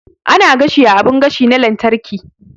Ana gashi a abun gashi na lantarki